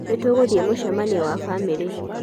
nítúgúthie mucemanio wa bamírí